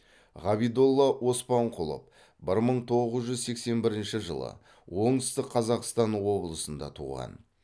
ғабидолла оспанқұлов бір мың тоғыз жүз сексен бірінші жылы оңтүстік қазақстан облысында туған